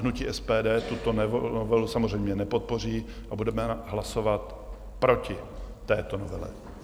Hnutí SPD tuto novelu samozřejmě nepodpoří a budeme hlasovat proti této novele.